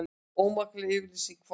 Ómakleg yfirlýsing forsetans